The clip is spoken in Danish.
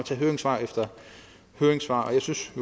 tage høringssvar efter høringssvar og jeg synes